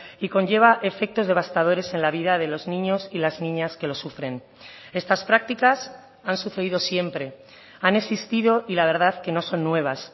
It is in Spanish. y conlleva efectos devastadores en la vida de los niños y las niñas que lo sufren estas prácticas han sucedido siempre han existido y la verdad que no son nuevas